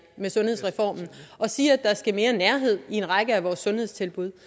med sundhedsreformen vi siger at der skal mere nærhed i en række af vores sundhedstilbud